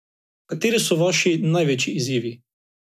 Kateri so vaši največji izzivi?